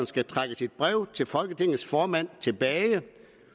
skal trække sit brev til folketingets formand tilbage